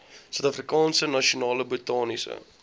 suidafrikaanse nasionale botaniese